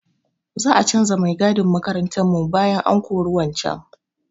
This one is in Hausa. Za a canza mai gadin makarantarmu bayan an kori wancan.